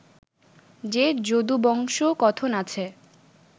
যে যদুবংশকথন আছে